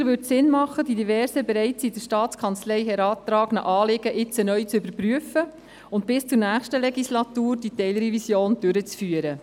Sicher würde es Sinn machen, die diversen, bereits an die Staatskanzlei herangetragenen Anliegen jetzt neu zu überprüfen und die Teilrevision bis zur nächsten Legislatur durchzuführen.